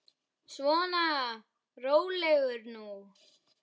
Svona, rólegur nú.